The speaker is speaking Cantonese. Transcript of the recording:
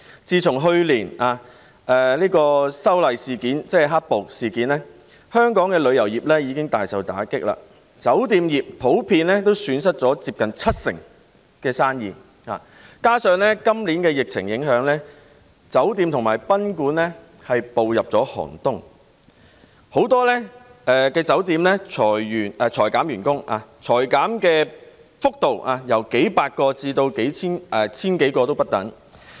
自去年的修例事件——即"黑暴"事件——香港旅遊業已大受打擊，酒店業也普遍損失了七成生意，加上今年受疫情影響，酒店和賓館已步入寒冬，很多酒店裁減員工，而裁減的幅度由數百人至千多人不等。